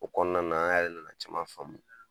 O kɔnɔna an yɛrɛ nana caman faamu,